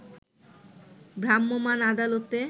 ভ্রাম্যমান আদালতে